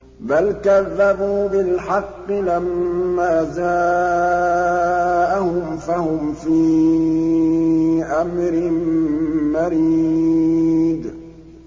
بَلْ كَذَّبُوا بِالْحَقِّ لَمَّا جَاءَهُمْ فَهُمْ فِي أَمْرٍ مَّرِيجٍ